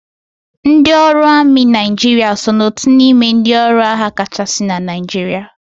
Ndị ọrụ amị Naijiria so na otu n'ime ndị ọrụ agha kachasị na Naijiria